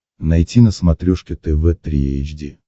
найти на смотрешке тв три эйч ди